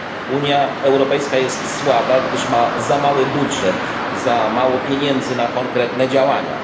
Unia Europejska jest słaba, gdyż ma za mały budżet, za mało pieniędzy na konkretne działania.